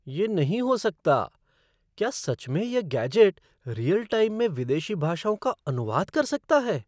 ये नहीं हो सकता! क्या सच में यह गैजेट रीयल टाइम में विदेशी भाषाओं का अनुवाद कर सकता है?